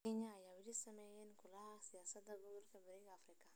Kenya ayaa weli saameyn weyn ku leh siyaasadda gobolka Bariga Afrika.